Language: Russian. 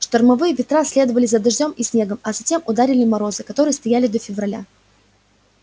штормовые ветра следовали за дождём и снегом а затем ударили морозы которые стояли до февраля